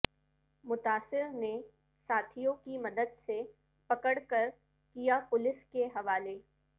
متاثر نے ساتھیوں کی مدد سے پکڑ کر کیا پولیس کے حوالے